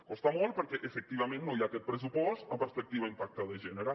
costa molt perquè efectivament no hi ha aquest pressupost amb perspectiva impacte de gènere